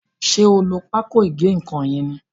ṣe o ló Pákò ìgé-nǹkan yén ní?